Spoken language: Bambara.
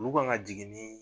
Olu kan ka jigin ni